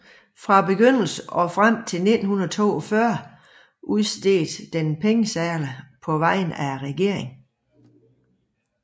Fra begyndelsen og frem til 1942 udstedte den pengesedler på vegne af regeringen